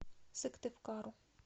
сыктывкару